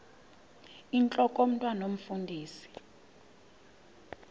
intlok omntwan omfundisi